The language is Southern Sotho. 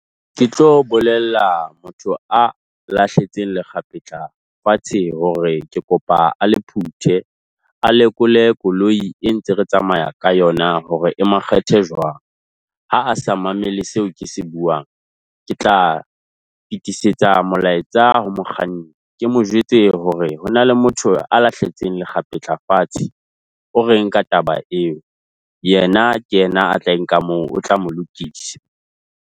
Ke tlo bolella motho a lahlehetseng lekgapetla fatshe hore ke kopa a le phuthe, a lekole koloi e ntse re tsamaya ka yona hore e makgethe jwang. Ha a sa mamele seo ke se buang ke tla fetisetsa molaetsa ho mokganni. Ke mo jwetse hore hona le motho a lahletseng lekgapetla fatshe. O reng ka taba eo? Yena ke yena a tla e nka mo o tla mo lokisa.